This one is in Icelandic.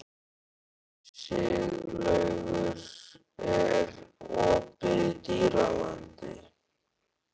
Siglaugur, er opið í Dýralandi?